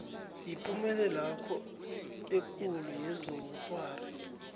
yipumelelwakho ekulu kezobukghwari